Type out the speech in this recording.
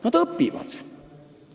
Nad õpivad!